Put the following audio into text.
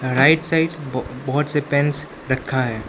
Right side ब बहोत से पेंस रखा है।